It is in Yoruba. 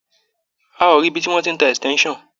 A ò rí ibi tí wọ́n ti ń tá extension.